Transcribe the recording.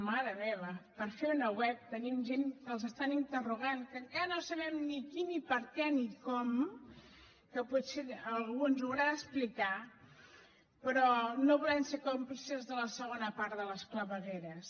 mare meva per fer una web tenim gent que els estan interrogant que encara no sabem ni qui ni per què ni com que potser algú ens ho haurà d’explicar però no volem ser còmplices de la segona part de les clavegueres